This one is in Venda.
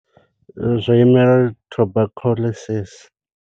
Zwo imela uri Tuberculosis.